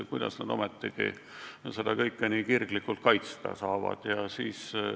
Kuidas nad ometigi seda kõike nii kirglikult kaitsta saavad?